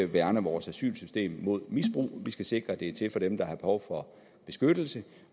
værne vores asylsystem mod misbrug vi skal sikre at det er til for dem der har behov for beskyttelse